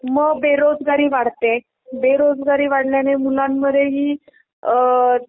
म बेरोजगारी वाढते. बेरोजगारी वाढल्याने मुलांमध्ये हि अअअ